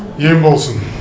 ем болсын